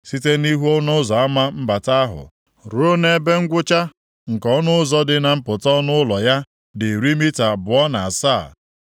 Site nʼihu ọnụ ụzọ ama mbata ahụ, ruo nʼebe ngwụcha nke ọnụ ụzọ dị na mpụta ọnụ ụlọ ya dị iri mita abụọ na asaa.